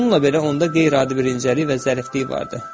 Bununla belə onda qeyri-adi bir incəlik və zəriflik vardı.